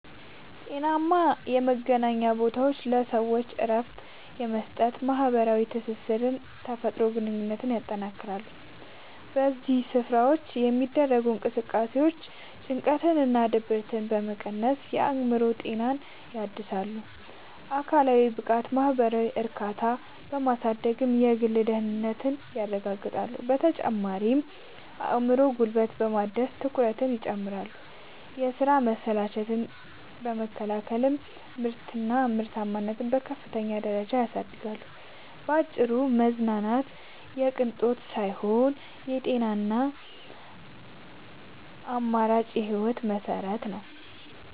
ጤናማ የመዝናኛ ቦታዎች ለሰዎች እረፍት በመስጠት፣ ማኅበራዊ ትስስርንና የተፈጥሮ ግንኙነትን ያጠናክራሉ። በእነዚህ ስፍራዎች የሚደረጉ እንቅስቃሴዎች ጭንቀትንና ድብርትን በመቀነስ የአእምሮ ጤናን ያድሳሉ፤ አካላዊ ብቃትንና ማኅበራዊ እርካታን በማሳደግም የግል ደህንነትን ያረጋግጣሉ። በተጨማሪም አእምሮንና ጉልበትን በማደስ ትኩረትን ይጨምራሉ፤ የሥራ መሰልቸትን በመከላከልም ምርታማነትን በከፍተኛ ደረጃ ያሳድጋሉ። ባጭሩ መዝናናት የቅንጦት ሳይሆን የጤናማና አምራች ሕይወት መሠረት ነው።